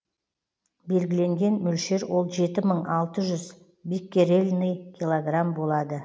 белгіленген мөлшер ол жеті мың алты жүз биккерельный килограмм болады